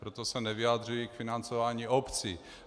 Proto se nevyjadřuji k financování obcí.